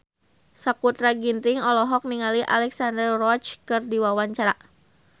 Sakutra Ginting olohok ningali Alexandra Roach keur diwawancara